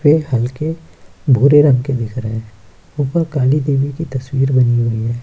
वे हल्के बूरे रंग के दिख रहे हैं ऊपर काली देवी की तस्वीर बनी हुई है।